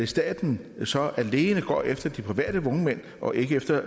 staten så alene går efter de private vognmænd og ikke efter